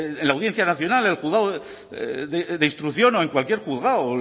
en la audiencia nacional en el juzgado de instrucción o en cualquier juzgado